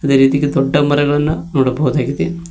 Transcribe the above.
ಅದೆ ರೀತಿ ದೊಡ್ಡ ಮರಗಳನ್ನು ನೋಡಬಹುದಾಗಿದೆ.